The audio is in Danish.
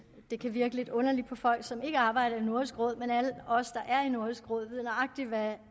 det kan virke lidt underligt på folk som ikke arbejder i nordisk råd men alle os der er i nordisk råd ved nøjagtig hvad